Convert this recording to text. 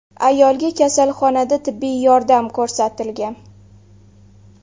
Ayolga kasalxonada tibbiy yordam ko‘rsatilgan.